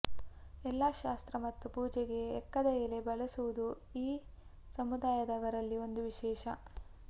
ಎಲ್ಲಾ ಶಾಸ್ತ್ರ ಮತ್ತು ಪೂಜೆಗೆ ಎಕ್ಕದ ಎಲೆ ಬಳಸುವುದು ಈ ಸಮುದಾಯದವರಲ್ಲಿ ಒಂದು ವಿಶೇಷ